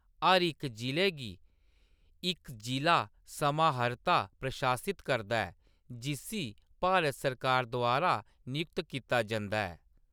हर इक जिले गी इक जिʼला समाहर्ता प्रशासित करदा ऐ, जिस्सी भारत सरकार द्वारा नियुक्त कीता जंदा ऐ।